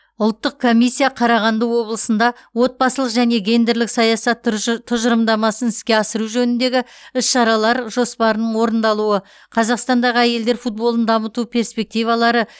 ұлттық комиссия қарағанды облысында отбасылық және гендерлік саясат тұжы тұжырымдамасын іске асыру жөніндегі іс шаралар жоспарының орындалуы қазақстандағы әйелдер футболын дамыту перспективалары